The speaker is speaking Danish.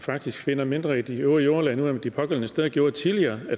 faktisk finder mindre i de øvre jordlag nogle af de pågældende steder gjorde tidligere